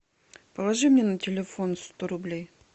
положи мне на телефон сто рублей